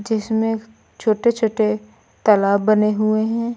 जिसमें छोटे छोटे तालाब बने हुए हैं।